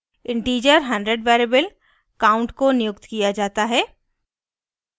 integer 100 variable count को नियुक्त किया जाता है